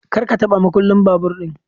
kar ka taba makullin babur din.